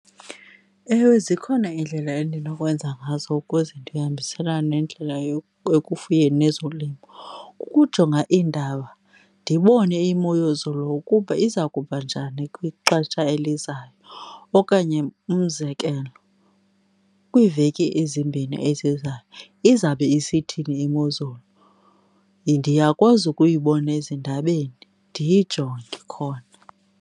Ewe zikhona iindlela endinokwenza ngazo ukuze ndihambiselane nendlela ekufuyeni nezolimo. Uukujonga iindaba ndibone imozulu ukuba iza kuba njani kwixesha elizayo okanye umzekelo, kwiiveki ezimbini ezizayo izawube isithini imozolu. Ndiyakwazi ukuyibona ezindabeni, ndiyijonge khona.